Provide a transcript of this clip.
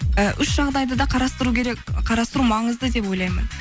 і үш жағдайды да қарастыру керек қарастыру маңызды деп ойлаймын